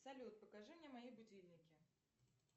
салют покажи мне мои будильники